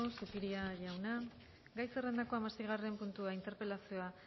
zupiria jauna gai zerrendako hamaseigarren puntua interpelazioa